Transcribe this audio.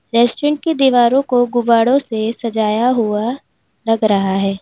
Restaurant की दीवारों को गुब्बाड़ो से सजाया हुआ लग रहा है।